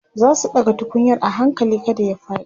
zasu ɗaga tukunyar a hakali kada ya faɗi